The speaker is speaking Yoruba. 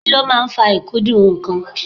Kí ló máa ń fa ikudun nnkan?